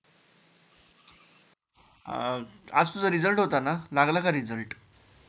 अं आज तुझा Result होता ना, लागला का Result